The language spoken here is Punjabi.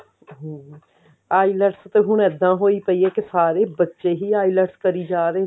ਹਮ IELTS ਤੇ ਹੁਣ ਇੱਦਾਂ ਪਈ ਕਿ ਸਾਰੇ ਬੱਚੇ ਹੀ IELTS ਕਰ ਜਾ ਰਹੇ ਨੇ